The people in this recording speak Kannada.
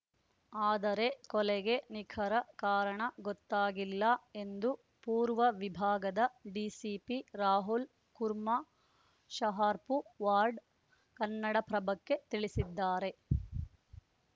ಆದರೆ ಕೊಲೆಗೆ ನಿಖರ ಕಾರಣ ಗೊತ್ತಾಗಿಲ್ಲ ಎಂದು ಪೂರ್ವ ವಿಭಾಗದ ಡಿಸಿಪಿ ರಾಹುಲ್‌ ಕುಮಾರ್‌ ಶಹಾಪುರ್‌ ವಾಡ್‌ ಕನ್ನಡಪ್ರಭಕ್ಕೆ ತಿಳಿಸಿದ್ದಾರೆ